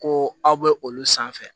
Ko aw bɛ olu sanfɛ